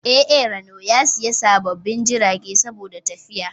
A A RANO ya siya sababbin jiragai saboda matafiya